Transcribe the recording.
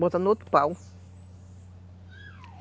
Bota no outro pau.